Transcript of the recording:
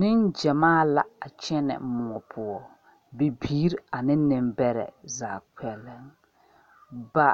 Ninjemaa la a kyene mou puo bibiiri ane nimbere zaa kpɛlɛn ba